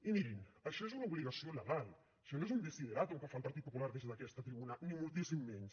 i mirin això és una obligació legal això no és un desideràtum que fa el partit popular des d’aquesta tribuna ni moltíssim menys